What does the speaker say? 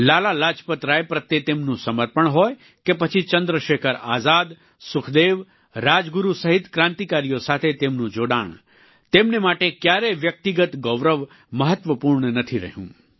લાલા લાજપતરાય પ્રત્યે તેમનું સમર્પણ હોય કે પછી ચંદ્રશેખર આઝાદ સુખદેવ રાજગુરુ સહિત ક્રાંતિકારીઓ સાથે તેમનું જોડાણ તેમને માટે ક્યારેય વ્યક્તિગત ગૌરવ મહત્વપૂર્ણ નથી રહ્યું